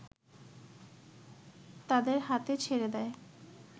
তাদের হাতে ছেড়ে দেয়